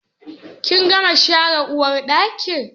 Kin gama share uwarɗakin?